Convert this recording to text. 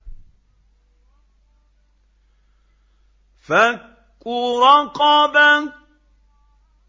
فَكُّ رَقَبَةٍ